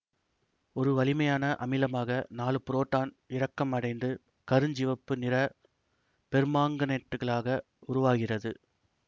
ஒரு வலிமையான அமிலமாக நாலு புரோட்டான் இறக்கம் அடைந்து கருஞ்சிவப்பு நிற பெர்மாங்கனேட்டுகளாக உருவாகிறது